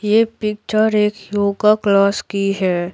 ये पिक्चर एक yoga class की है।